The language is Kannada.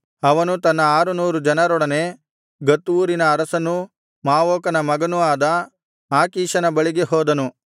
ಅವನು ತನ್ನ ಆರುನೂರು ಜನರೊಡನೆ ಗತ್ ಊರಿನ ಅರಸನೂ ಮಾವೋಕನ ಮಗನೂ ಆದ ಆಕೀಷನ ಬಳಿಗೆ ಹೋದನು